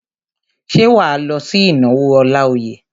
Ṣé wà á lọ sí ìnáwó Ọláoyè?